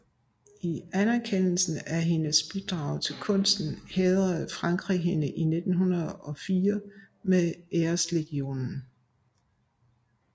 I anerkendelse af hendes bidrag til kunsten hædrede Frankrig hende i 1904 med Æreslegionen